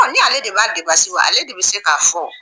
Ɔ ni ale de b'a ale de bɛ se k'a fɔ wo!